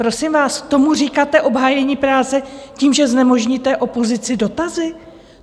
Prosím vás, tomu říkáte obhájení práci tím, že znemožníte opozici dotazy?